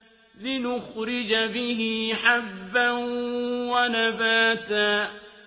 لِّنُخْرِجَ بِهِ حَبًّا وَنَبَاتًا